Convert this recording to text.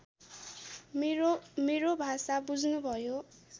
मेरो भाषा बुझ्नुभयो